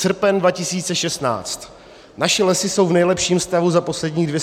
Srpen 2016 - naše lesy jsou v nejlepším stavu za posledních 250 let.